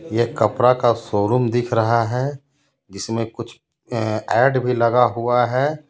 यह कपड़ा का शोरूम दिख रहा है जिसमे कुछ ऐ-ऐड भी लगा हुआ है.